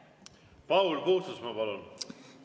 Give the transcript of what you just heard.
Paul Puustusmaa, palun!